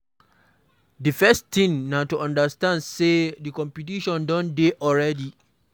Di first thing na to understand sey di competition don dey already